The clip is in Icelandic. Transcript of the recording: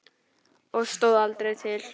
Og stóð aldrei til.